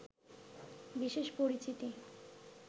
বিশেষ পরিচিতি